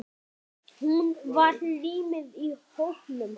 Hún var límið í hópnum.